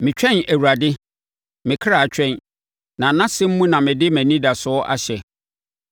Metwɛn Awurade, me kra twɛn, na nʼasɛm mu na mede mʼanidasoɔ ahyɛ.